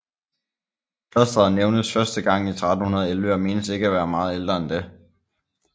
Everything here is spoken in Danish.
Klosteret nævnes første gang i 1311 og menes ikke at være meget ældre end det